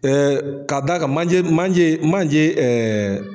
k'a da a kan manje manje manje